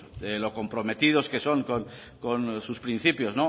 lo comprometidos que son con sus principios